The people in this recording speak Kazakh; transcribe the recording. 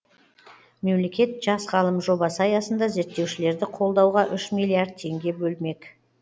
мемлекет жас ғалым жобасы аясында зерттеушілерді қолдауға үш миллиард теңге бөлмек